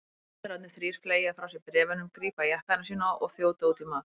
Ritararnir þrír fleygja frá sér bréfunum, grípa jakkana sína og þjóta út í mat.